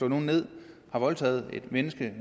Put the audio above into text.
nogen ned har voldtaget et menneske